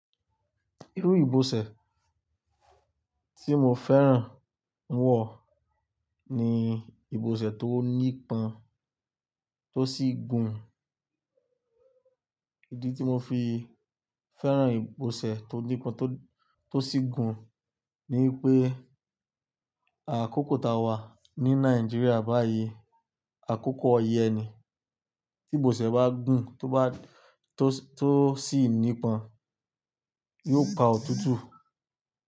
Irú ìbọ̀sẹ̀ tí mo fẹ́ràn wọ̀ ni ìbọ̀sẹ̀ tó ní pọ́n tó sì gùn. Ìdí tí mo fi fẹ́ràn ìbọ̀sẹ̀ tó ní pọ́n tó sì gùn ni pé, àkókò ta wà ní Nàìjíríà báyìí, àkókò oyẹ ni. Tí ìbọ̀sẹ̀ bá gùn, tó sì ní pọ́n, yóò pa òtútù.